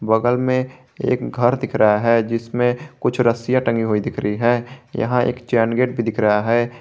बगल में एक घर दिख रहा है जिसमे कुछ रस्सियां टंगी हुई दिख रही है यहां एक चैन गेट भी दिख रहा है।